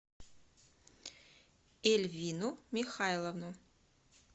эльвину михайловну